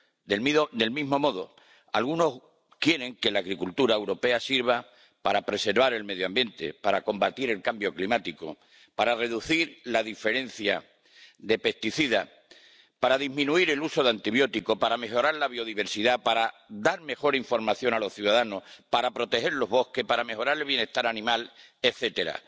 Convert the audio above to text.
Del mismo modo, algunos quieren que la agricultura europea sirva para preservar el medio ambiente, para combatir el cambio climático, para reducir los plaguicidas, para disminuir el uso de antibióticos, para mejorar la biodiversidad, para dar mejor información a los ciudadanos, para proteger los bosques, para mejorar el bienestar animal, etcétera.